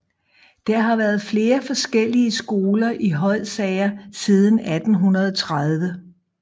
Der har været flere forskellige skoler i Hodsager siden 1830